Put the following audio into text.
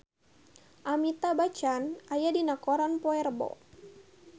Amitabh Bachchan aya dina koran poe Rebo